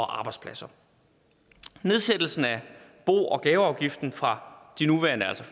arbejdspladser nedsættelsen af bo og gaveafgiften fra de nuværende